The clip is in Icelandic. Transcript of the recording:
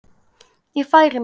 Ég færi mig.